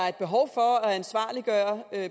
er et behov for at gøre